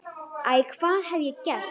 Æ, hvað hef ég gert?